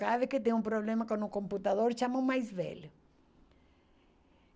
Cada vez que tem um problema com o computador, chama o mais velho.